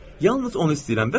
Hə, yalnız onu istəyirəm.